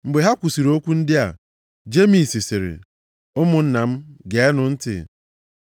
Mgbe ha kwusiri okwu ndị a, Jemis sịrị, “Ụmụnna m geenụ ntị.